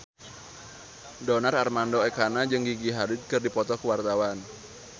Donar Armando Ekana jeung Gigi Hadid keur dipoto ku wartawan